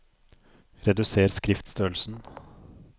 Reduser skriftstørrelsen